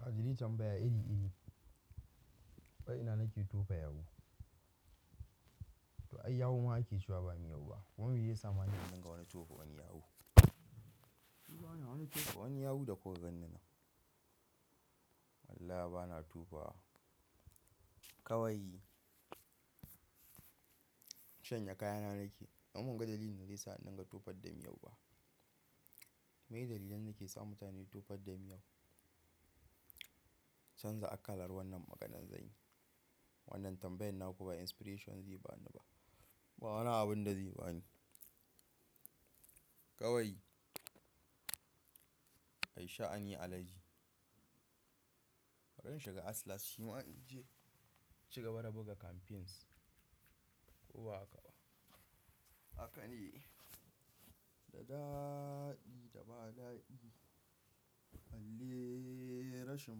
Kaji ri tambaya iri-iri. Wai ina nake tofa yawu? To ai yawu ma ake cewa ba miyau ba. Kuma me ya sa ma ni zan dinga wani tofo wani yawu? To ba na wani tofa wani yawu da ku ganni nan. Wallahi ba na tofawa. Kawai shanye kayana nake. Amma ban ga dalilin da zai sa in dinga tofar da miyau ba. Meye dalilan dake sa mutane tofar da miyau? Canza akalar wannan maganan zanyi. Wannan tambayan naku ba inspiration zai ba ni ba. Ba wani abun da zai bani. Kawai ai sha'ani alhaji. Bari shiga Atlas shima in je cigaba da buga campaigns. Ko ba haka ba. Haka ne. Da daɗi da ba daɗi. Halle rashin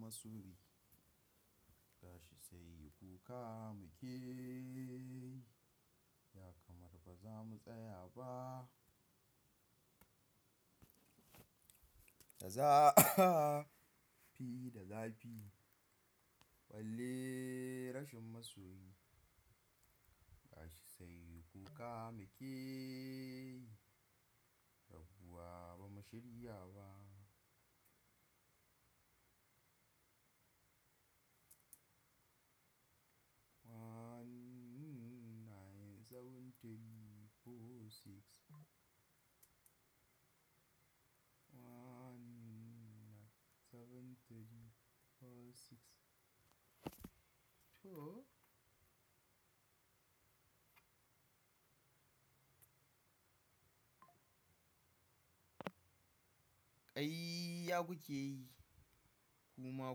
masoyi. Gashi sai kuka muke. Ya kamar ba za mu tsaya ba. Da zafi da zafi. Halle rashin masoyi. Tashi sai ku kama key. Rabuwa ba mu shirya ba. Nine seven three four six. One nine seven three four six. To. Kaiya kuke yi. Kuma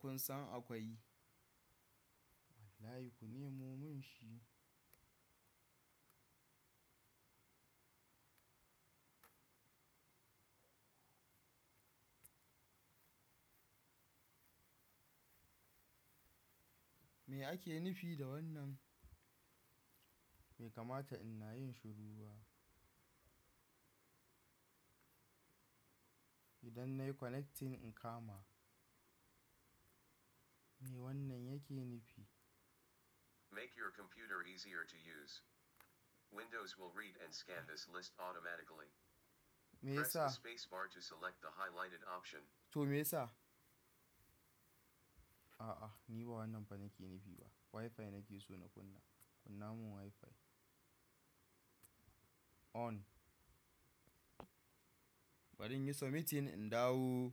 kun san akwai. Wallahi ku nemo mun shi. Me ake nufi da wannan? Be kamata in nayin shuru ba? Idan nayi connecting in kama. Me wannan yake nufi? Make your computer easier to use. Windows will read and scan this list automatically. Me ya sa? Press the spacebar to select the highlighted option. To me ya sa? A'a, ni ba wannan fa nake nufi ba. Wi-Fi nake so na kunna. Kunna mun Wi-Fi. On. Bari in yi submitting in dawo.